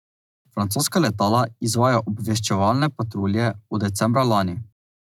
Francoska letala izvajajo obveščevalne patrulje od decembra lani.